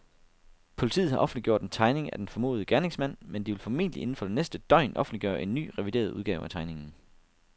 Politiet har offentliggjort en tegning af denne formodede gerningsmand, men de vil formentlig inden for det næste døgn offentliggøre en ny, revideret udgave af tegningen.